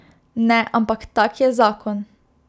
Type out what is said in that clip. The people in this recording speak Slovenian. Ne, ampak tak je zakon...